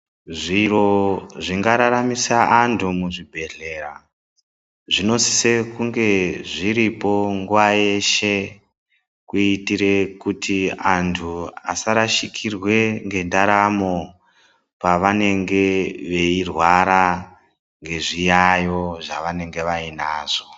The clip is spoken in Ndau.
Zviro zvingararamisa antu muzvibhedhlera zvinosiso kunge zviripo nguva yeshe kuitira kuti antu asarasikirwe nge ndaramo pavanenge veirwara nezviyayo zvavanenge vainazvo.